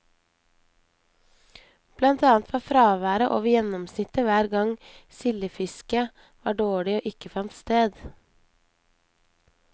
Blant annet var fraværet over gjennomsnittet hver gang sildefisket var dårlig eller ikke fant sted.